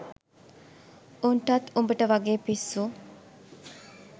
උන්ටත් උඹට වගේ පිස්සු